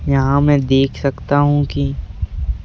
यहाँ मैं देख सकता हूँ कि --